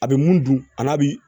A bɛ mun dun a n'a bi